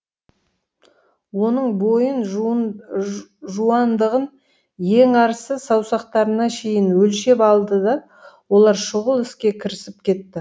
оның бойын жуандығын ең арысы саусақтарына шейін өлшеп алды да олар шұғыл іске кірісіп кетті